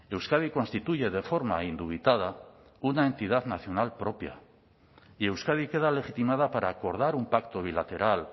euskadi constituye de forma indubitada una entidad nacional propia y euskadi queda legitimada para acordar un pacto bilateral